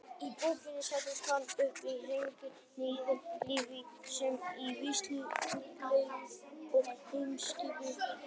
Í bókinni setur hann uppgötvanir hinnar nýju líffræði, sameindalíffræðinnar, í vísindalegt og heimspekilegt samhengi.